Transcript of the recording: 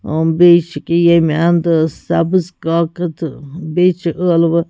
.ا بیٚیہِ چُھ أکیا ییٚمہِ اَنٛدٕ سبٕز کاکد بیٚیہِ چُھ ٲلوٕ